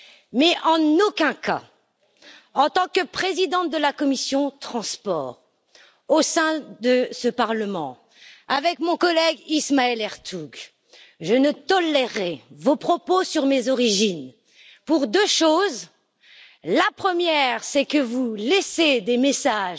Mais en aucun cas, en tant que présidente de la commission des transports au sein de ce Parlement, avec mon collègue Ismail Ertug, je ne tolérerai vos propos sur mes origines, pour deux choses la première, c'est que vous faites passer des messages